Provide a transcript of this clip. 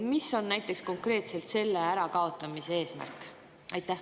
Mis on näiteks konkreetselt selle ärakaotamise eesmärk?